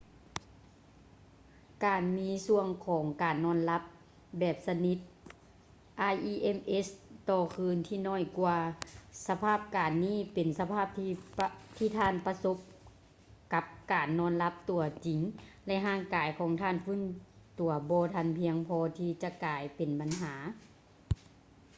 ການມີຊ່ວງຂອງການນອນຫຼັບແບບສະໜິດ rems ຕໍ່ຄືນທີ່ໜ້ອຍກວ່າ ສະພາບການນີ້ ເປັນສະພາບທີ່ທ່ານປະສົບກັບການນອນຫຼັບຕົວຈິງ ແລະ ຮ່າງກາຍຂອງທ່ານຟື້ນຕົວບໍ່ພຽງພໍທີ່ຈະກາຍເປັນບັນຫາ